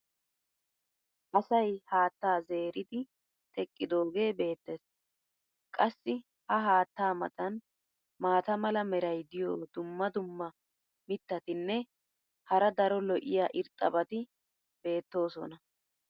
asay haattaa zeeridi teqqidoogee beetees. qassi ha haattaa matan maata mala meray diyo dumma dumma mitatinne hara daro lo'iya irxxabati beetoosona.